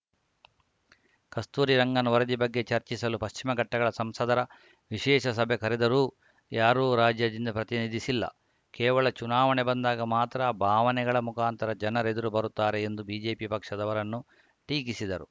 ಕಸ್ತೂರಿ ರಂಗನ್‌ ವರದಿ ಬಗ್ಗೆ ಚರ್ಚಿಸಲು ಪಶ್ಚಿಮಘಟ್ಟಗಳ ಸಂಸದರ ವಿಶೇಷ ಸಭೆ ಕರೆದರೂ ಯಾರೂ ರಾಜ್ಯದಿಂದ ಪ್ರತಿನಿಧಿಸಿಲ್ಲ ಕೇವಲ ಚುನಾವಣೆ ಬಂದಾಗ ಮಾತ್ರ ಭಾವನೆಗಳ ಮುಖಾಂತರ ಜನರೆದುರು ಬರುತ್ತಾರೆ ಎಂದು ಬಿಜೆಪಿ ಪಕ್ಷದವರನ್ನು ಟೀಕಿಸಿದರು